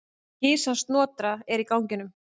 Kisan Snotra er í ganginum.